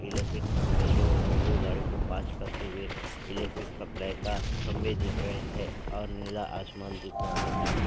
Electric खंभे जो railway गाड़ी को पास करते हुए इलेक्ट्रिक सप्लाई का खंभे दिख रहे हैं और नीला आसमान दिख रहा हैंधन्यवाद ।